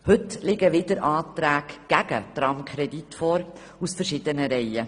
Heute liegen wieder Anträge gegen den Tramkredit vor – aus verschiedenen Reihen.